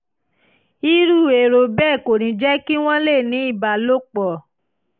irú èrò bẹ́ẹ̀ kò ní jẹ́ kí wọ́n lè ní ìbálòpọ̀